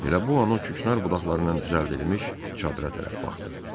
Elə bu an o küknar budaqlarından düzəldilmiş çadıra tərəf baxdı.